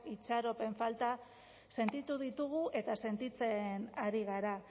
itxaropen falta sentitu ditugu eta sentitzen ari gara